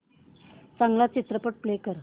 चांगला चित्रपट प्ले कर